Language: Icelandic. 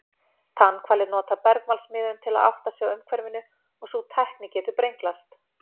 Tannhvalir nota bergmálsmiðun til að átta sig á umhverfinu og sú tækni getur brenglast.